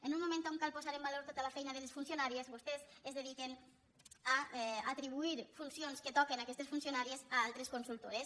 en un moment on cal posar en valor tota la feina de les funcionàries vostès es dediquen a atribuir funcions que toquen a aquestes funcionàries a altres consultores